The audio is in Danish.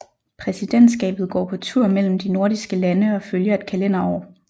Præsidentskabet går på tur mellem de nordiske lande og følger et kalenderår